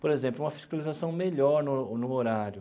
Por exemplo, uma fiscalização melhor no no horário.